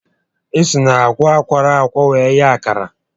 E si na àgwà a kwọrọ akwọ were eghe akara